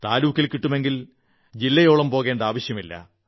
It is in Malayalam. താലൂക്കിൽ കിട്ടുമെങ്കിൽ ജില്ലയോളം പോകേണ്ട ആവശ്യമില്ല